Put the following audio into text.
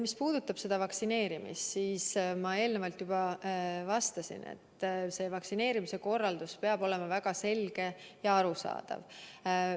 Mis puudutab vaktsineerimist, siis ma eelnevalt juba vastasin, et vaktsineerimise korraldus peab olema väga selge ja arusaadav.